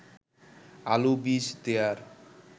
আলু বীজ দেয়ার